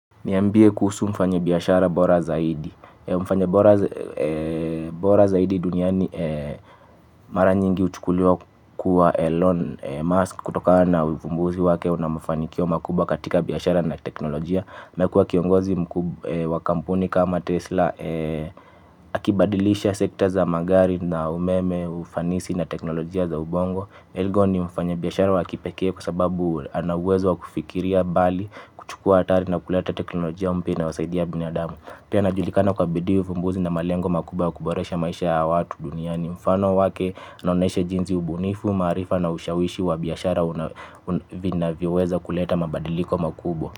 Niambie kuhusu mfanyabiashara bora zaidi. Mfanye Bora Zaidi duniani mara nyingi huchukuliwa kuwa Elon Musk kutokana na uvumbuzi wake na mafanikio makubwa katika biashara na teknolojia amekua kiongozi wa kampuni kama Tesla. Akibadilisha sekta za magari na umeme ufanisi na teknolojia za ubongo Elgo ni mfanye biashara waki pekee kwa sababu ana uwezo wa kufikiria bali kuchukua atari na kuleta teknolojia mpya inayo wasaidia binadamu pia anajulikana kwa bidii uvumbuzi na malengo makubwa kuboresha maisha ya watu duniani. Mfano wake naoneshe jinzi ubunifu, marifa na ushawishi wa biashara vina viweza kuleta mabadiliko makubwa.